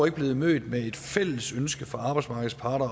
ikke blevet mødt med et fælles ønske fra arbejdsmarkedets parter